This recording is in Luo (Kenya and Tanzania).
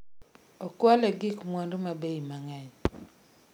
Okwale gig mwandu ma bei mang'eny